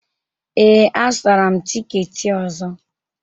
Ee, azụtara m tikeeti ọzọ